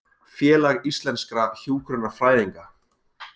Félag íslenskra hjúkrunarfræðinga